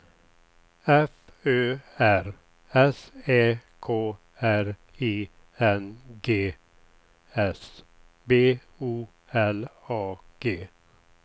F Ö R S Ä K R I N G S B O L A G